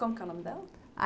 Como que é o nome dela?